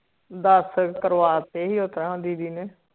ਦਸ ਕਰਵਾਤੇ ਸੀ ਓ ਤਾ ਦੀਦੀ ਨੇ